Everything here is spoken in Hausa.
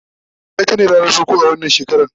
laraba itace ranar farko a wannan shekara